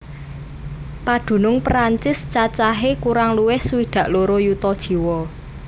Padunung Prancis cacahé kurang luwih swidak loro yuta jiwa